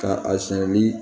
Ka a siyɛn ni